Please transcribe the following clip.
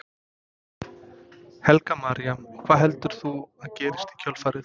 Helga María: Og hvað heldur þú að gerist í kjölfarið?